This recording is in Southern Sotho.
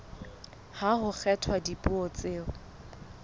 ha ho kgethwa dipuo tseo